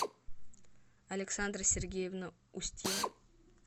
александра сергеевна устьева